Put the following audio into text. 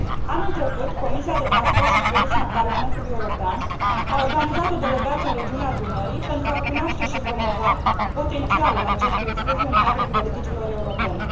Anul trecut, Comisia de transport și turism a Parlamentului European a organizat o delegație în regiunea Dunării, pentru a cunoaște și promova potențialul acestui fluviu în cadrul politicilor europene.